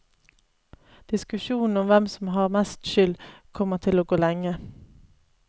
Diskusjonen om hvem som har mest skyld, kommer til å gå lenge.